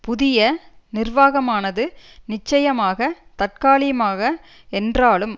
புதிய நிர்வாகமானது நிச்சயமாக தற்காலிமாக என்றாலும்